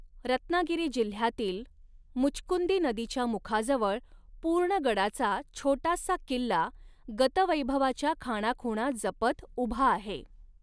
रत्नागिरी जिल्यातील मुचकुंदी नदीच्या मुखाजवळ पूर्णगडाचा छोटासा किल्ला गतवैभवाच्या खाणाखूणा जपत उभा आहे.